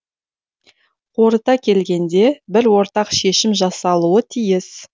қорыта келгенде бір ортақ шешім жасалуы тиіс